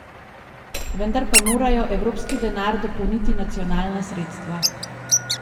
Vendar pa morajo evropski denar dopolniti nacionalna sredstva.